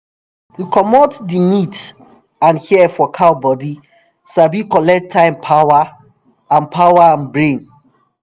to comot di meat and hair for cow bodi sabi collect time power and power and brain